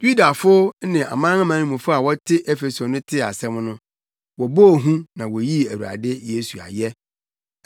Yudafo ne amanamanmufo a wɔte Efeso no tee asɛm no, wɔbɔɔ hu na woyii Awurade Yesu ayɛ.